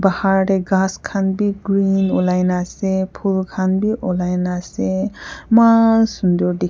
bahar tae grass khan vi green olaina ase phool khan vi olai na ase eman sundor--